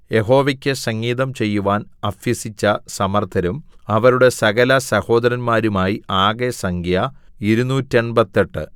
യഹോവയ്ക്ക് സംഗീതം ചെയ്യുവാൻ അഭ്യസിച്ച സമർത്ഥരും അവരുടെ സകലസഹോദരന്മാരുമായി ആകെ സംഖ്യ ഇരുനൂറ്റെൺപത്തെട്ട്